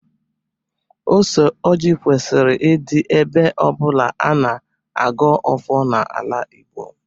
Ose ọjị kwesịrị ịdị ebe ọbụla ana agọ ọfọ na-ala Igbo.